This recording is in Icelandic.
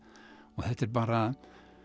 þetta er bara